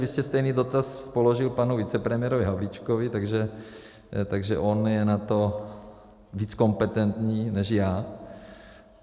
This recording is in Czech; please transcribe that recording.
Vy jste stejný dotaz položil panu vicepremiérovi Havlíčkovi, takže on je na to víc kompetentní než já.